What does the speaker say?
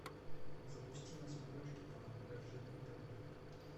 запусти на смотрешке канал ржд тв